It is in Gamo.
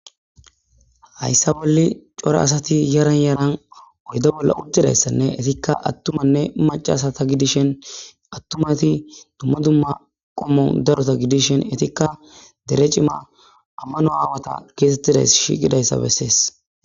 Hayssa bolle cora asati yaran yaran oyda bolla uddidayssanne etikka attumanne macasata gidishen attumati dumma dumma qommon darota gidishen etikka dere cima ammano aawata keesettidays shiqidayssa bessees.